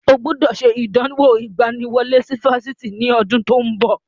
Ó gbọ́dọ̀ ṣe ìdánwò ìgbaniwọlé sí Fásitì ní ọdún tí ó ń bọ̀.